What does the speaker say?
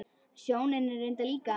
Sjóni reyndar líka.